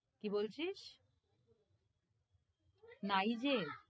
কি বলছিস? নাইজেল?